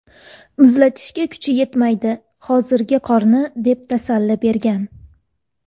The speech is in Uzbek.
Muzlatishga kuchi yetmaydi hozirgi qorni” deb tasalli bergan.